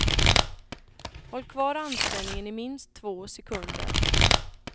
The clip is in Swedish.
Håll kvar anspänningen i minst två sekunder.